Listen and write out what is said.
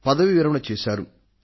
ఈయన పదవీ విరమణ చేశారు